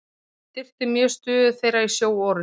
Hún styrkti mjög stöðu þeirra í sjóorrustum.